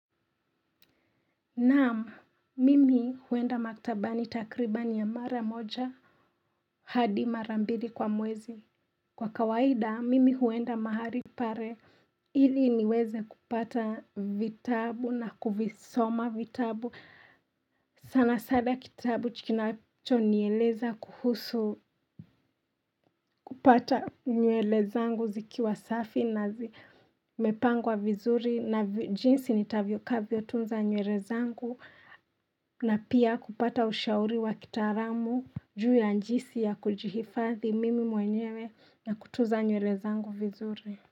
Naam, mimi huenda maktabani takribani ya mara moja, hadi mara mbili kwa mwezi. Kwa kawaida, mimi huenda mahali pale ili niweze kupata vitabu na kuvisoma vitabu. Sana sana kitabu kinacho nieleza kuhusu kupata nyuele zangu zikiwa safi na zi mepangwa vizuri na jinsi nitavyo kavyo tunza nyuele zangu. Na pia kupata ushauri wa kitaalamu juu ya njisi ya kujihifathi mimi mwenyewe na kutunza nyuele zangu vizuri.